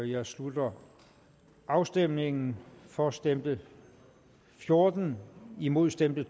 jeg slutter afstemningen for stemte fjorten imod stemte